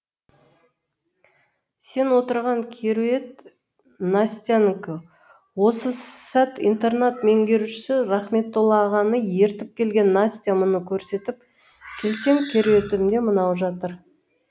сен отырған кереует настянікі осы сәт интернат меңгерушісі рахметтола ағаны ертіп келген настя мұны көрсетіп келсем кереуетімде мынау жатыр